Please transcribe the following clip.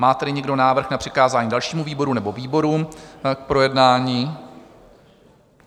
Má tedy někdo návrh na přikázání dalšímu výboru nebo výborům k projednání?